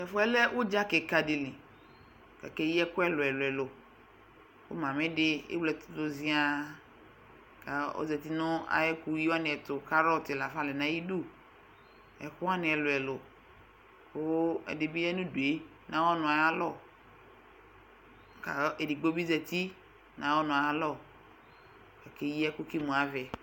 tɛƒʋɛlɛ ʋdzakikadili kakeyi ɛkʋ ɛlʋɛlʋ kʋ mamidi ewle ɛtʋdʋ zhian ka ɔzati nʋ ayɛkʋyi waniɛtʋ kʋ (NA) lafa lɛ nʋ ayidʋ ɛkʋwani ɛlʋɛlʋ kʋ ɛdibi ya nu udue na yɔnʋ ayalɔ kɛdigbobi zati nayʋ ɔnʋalɔ kake yi ɛkʋ kʋ emʋavɛ